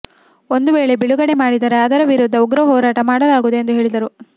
ಒಂದು ವೇಳೆ ಬಿಡುಗಡೆ ಮಾಡಿದರೆ ಅದರ ವಿರುದ್ಧ ಉಗ್ರ ಹೋರಾಟ ಮಾಡಲಾಗುವುದು ಎಂದು ಹೇಳಿದರು